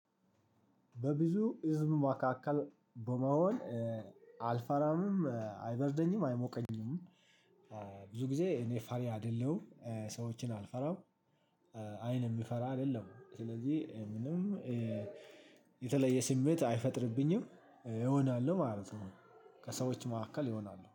በብዙ ህዝብ መካከል በመሆን አልፋራምም አይበርደኝም አይሞቀኝም። ብዙ ጊዜ እኔ ፈሪ አይደለሁም ሰዎችን አልፈራም። አይን የምፈራ አይደለሁም ስለዚህ ምንም የተለየ ስሜት አይፈጥርብኝም እሆናለሁ ማለት ነው። ከሰዎች መካከል እሆናለው